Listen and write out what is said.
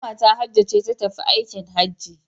Kwanta Hajjo ce ta tafi aikin Hajji